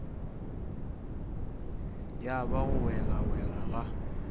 ya ba go welawela ga